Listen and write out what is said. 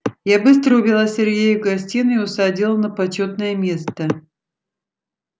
я быстро увела сергея в гостиную и усадила на почётное место